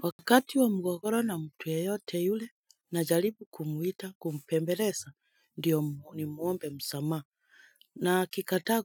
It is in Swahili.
Wakati wa mgogoro na mtu yeyote yule na jalipu kumuita kumpembeleza ndiyo ni muombe msama na akikata